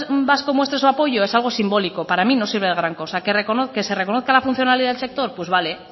vasco muestre su apoyo es algo simbólico para mí no sirve de gran cosa que se reconozca la funcionalidad del sector pues vale